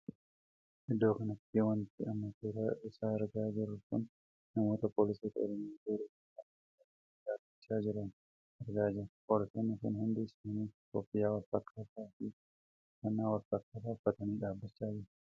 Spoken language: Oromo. Iddoo kanatti wanti amma suuraa isaa argaa jirru kun namoota poolisoota oromiyaa tooraan ykn hiriira galanii dhaabbachaa jiran argaa jirra. poolisonni kun hundi isaanii koffiyyaa Wal fakkaataa fi uffannaa wal fakkaataa uffatanii dhaabbachaa jiru.